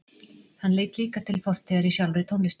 Hann leit líka til fortíðar í sjálfri tónlistinni.